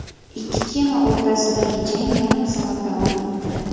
Ikki kema o‘rtasidagi jang yarim soat davom etdi.